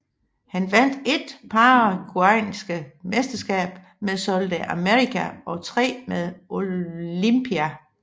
Han vandt ét paraguayanske mesterskab med Sol de América og tre med Olimpia